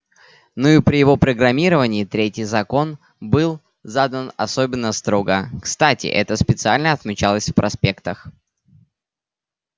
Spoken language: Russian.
ну и при его программировании третий закон был задан особенно строго кстати это специально отмечалось в проспектах